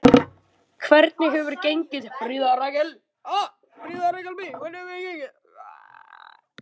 Hvernig hefur gengið, Fríða Rakel?